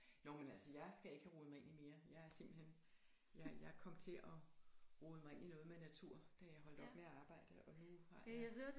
Nåh men altså jeg skal ikke have rodet mig ind i mere jeg er simpelthen jeg jeg kom til at rode mig ind i noget med natur da jeg holdt op med at arbejde og nu har jeg